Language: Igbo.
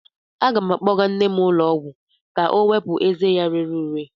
Aga m akpọga nne m ụlọ ọgwụ ka ọ wepụ ezé ya rere ure.